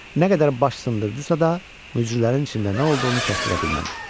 Nə qədər baş sındırdısa da, mücrülərin içində nə olduğunu kəsdirə bilmədi.